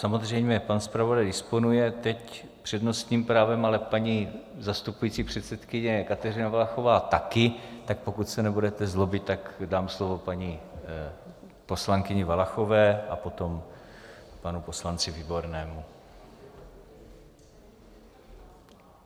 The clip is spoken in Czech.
Samozřejmě pan zpravodaj disponuje teď přednostním právem, ale paní zastupující předsedkyně Kateřina Valachová taky, tak pokud se nebudete zlobit, tak dám slovo paní poslankyni Valachové a potom panu poslanci Výbornému.